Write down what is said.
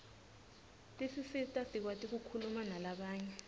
tisisita sikwati kukhuluma nalabanye